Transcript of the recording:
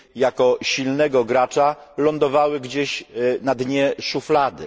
jako silnego gracza lądowało gdzieś na dnie szuflady.